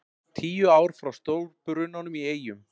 Tíu ár frá stórbrunanum í Eyjum